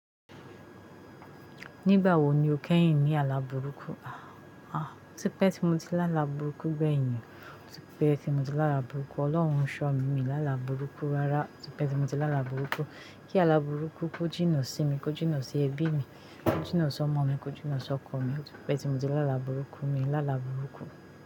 Nígbà wo ni o kẹ́yìn ní àlà burúkú? A! A! Ti pẹ́ tí mo ti lá àlà burúkú gbẹ̀yìn. Ti pẹ́ tí mo ti lá àlà burúkú. Ọlọ́run n ṣọ mí, mi ní àlà burúkú rárá. Ti pẹ́ tí mo ti lá àlà burúkú. Kí àlà burúkú kó jìnà sí mi, kó jìnà sí ẹbí mi, kó jìnà sí ọmọ mi, kó jìnà sí ọkọ mi. Ó ti pẹ́ tí mo ti lá àlà burúkú mi n lalà burúkú.